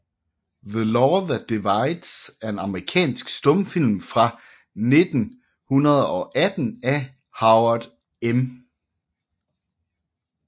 The Law That Divides er en amerikansk stumfilm fra 1918 af Howard M